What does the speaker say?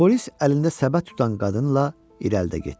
Polis əlində səbət tutan qadınla irəlidə getdi.